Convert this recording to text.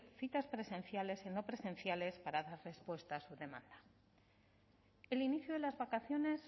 citas presenciales y no presenciales para dar respuesta a su demanda el inicio de las vacaciones